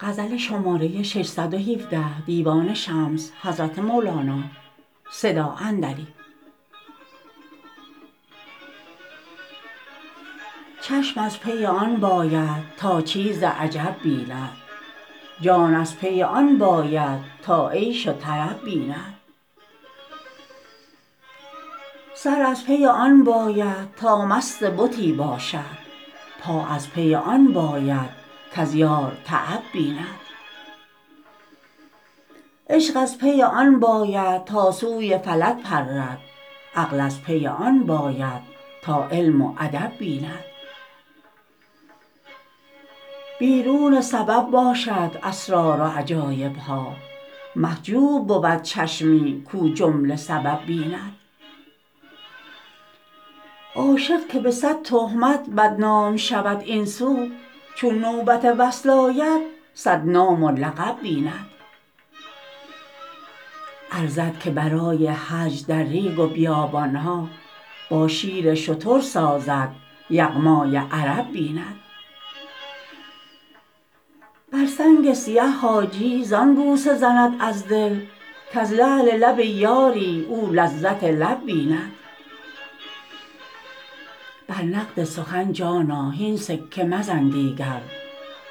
چشم از پی آن باید تا چیز عجب بیند جان از پی آن باید تا عیش و طرب بیند سر از پی آن باید تا مست بتی باشد پا از پی آن باید کز یار تعب بیند عشق از پی آن باید تا سوی فلک پرد عقل از پی آن باید تا علم و ادب بیند بیرون سبب باشد اسرار و عجایب ها محجوب بود چشمی کو جمله سبب بیند عاشق که به صد تهمت بدنام شود این سو چون نوبت وصل آید صد نام و لقب بیند ارزد که برای حج در ریگ و بیابان ها با شیر شتر سازد یغمای عرب بیند بر سنگ سیه حاجی زان بوسه زند از دل کز لعل لب یاری او لذت لب بیند بر نقد سخن جانا هین سکه مزن دیگر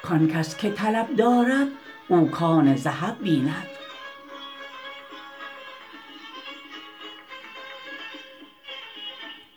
کان کس که طلب دارد او کان ذهب بیند